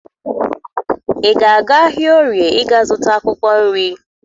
Ị ga-aga ahịa Orie ịga zụta akwụkwọ nri?